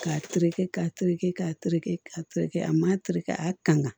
K'a tereke k'a tereke k'a terekɛ k'a tereke a ma teleke ka a kanga